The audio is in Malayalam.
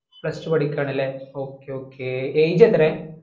plusetwo പഠിക്കാണലേ okay okay age എത്രയാ